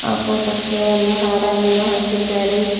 ಅ photo ಕ್ಕೆ ಒಂದು ಹಾರವನ್ನು ಹಾಕಿದ್ದಾರೆ.